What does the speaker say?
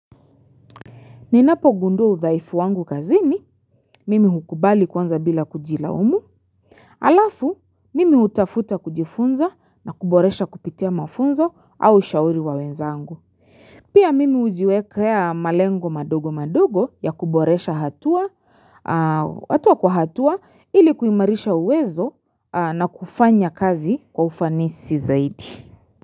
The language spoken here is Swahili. Ninapogundua udhaifu wangu kazini, mimi hukubali kwanza bila kujilaumu. Alafu, mimi hutafuta kujifunza na kuboresha kupitia mafunzo au ushauri wa wenzangu. Pia mimi hujiwekea malengo madogo madogo ya kuboresha hatua, hatua kwa hatua ili kuimarisha uwezo na kufanya kazi kwa ufanisi zaidi.